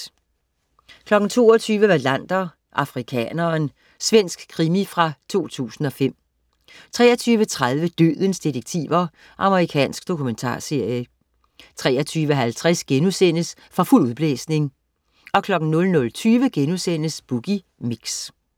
22.00 Wallander: Afrikaneren. Svensk krimi fra 2005 23.30 Dødens detektiver. Amerikansk dokumentarserie 23.50 For fuld udblæsning* 00.20 Boogie Mix*